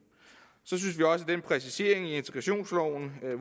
præcisering i integrationsloven